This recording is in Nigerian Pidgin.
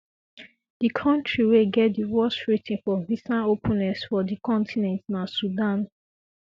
di kontri wey get di worst rating for for visa openness for um di continent na sudan